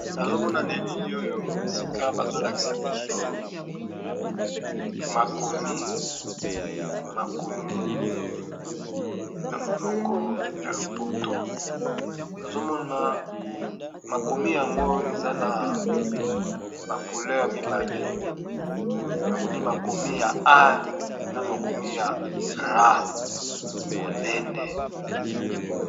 Nazomona na elili oyo esika bazolakisa biso makomi makomi na monoko ya lopoto nazomona makomi yango eza na ba couleur mibale namoni makomi ya a na makomi ya ra monene.